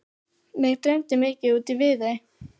Mig dreymdi mikið út í Viðey.